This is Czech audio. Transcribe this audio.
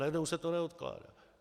Najednou se to neodkládá.